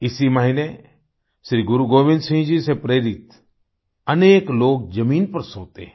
इसी महीने श्री गुरु गोविंद सिंह जी से प्रेरित अनेक लोग जमीन पर सोते हैं